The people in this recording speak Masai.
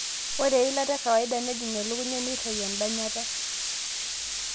ore eilata e kawaida nejing elukunya neitayu edanyata